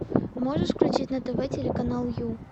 можешь включить на тв телеканал ю